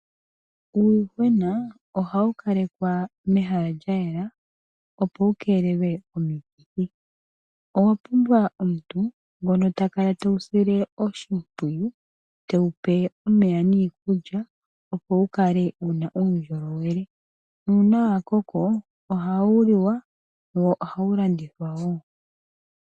Uuyuhwena ohawu kalekwa mehala lyayela, opo wukeelelwe komikithi. Owa pumbwa omuntu ngono takala tewu sile oshimpwiyu, tewupe omeya niikulya, opo wukale wuna uundjolowele. Nuuna wakoko, ohawu liwa, wo ohawu landithwa wo.